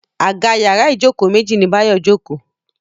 Àga yàrá Ijoko méjì ní Bayo joko.